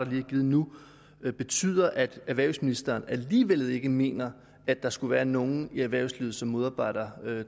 blevet givet nu betyder at erhvervsministeren alligevel ikke mener at der skulle være nogen i erhvervslivet som modarbejder